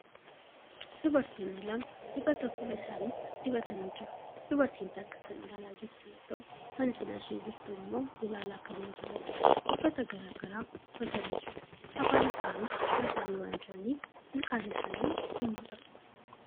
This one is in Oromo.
Dubartoonni lama dibata fuula isaanitti dibatanii jiru. Dubartiin takka kan ilaalaa jirtu yoo ta'u kan cinaa ishee jirtu immoo ilaalaa kan hin jirreedha. Uffata garagaraa uffatanii jiru. Afaan isaanii cufatanii waan jiraniif ilkaan isaanii hin mul'atu.